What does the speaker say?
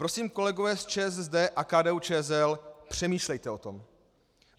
Prosím, kolegové z ČSSD a KDU-ČSL, přemýšlejte o tom.